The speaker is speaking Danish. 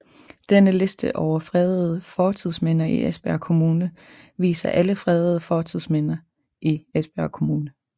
Denne liste over fredede fortidsminder i Esbjerg Kommune viser alle fredede fortidsminder i Esbjerg Kommune